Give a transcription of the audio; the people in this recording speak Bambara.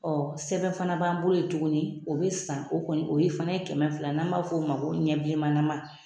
sɛbɛn fana b'an bolo ye tuguni o bɛ san o kɔni o ye fana ye kɛmɛ fila n'an b'a f'o ma ko ɲɛ bilenmanama.